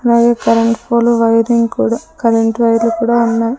అలాగే current pole wiring కూడా current wire లు కూడా ఉన్నాయి.